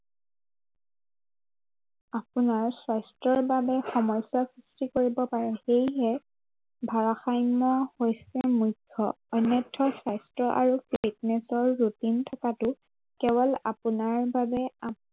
আপোনাৰ স্বাস্থ্য়ৰ বাবে সমস্য়াৰ সৃষ্টি কৰিবপাৰে। সেয়েহে ভাৰাসাম্য় হৈছে মুখ্য়। অন্যথা স্বাস্থ্য় আৰু fitness ৰ routine থকাটো কোৱল আপোনাৰ বাবে